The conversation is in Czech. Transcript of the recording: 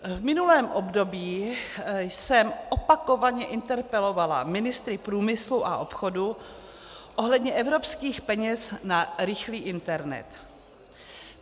V minulém období jsem opakovaně interpelovala ministry průmyslu a obchodu ohledně evropských peněz na rychlý internet.